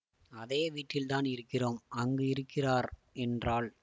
அதே வீட்டில்தான் இருக்கிறோம் அங்கே இருக்கிறார் என்றாள்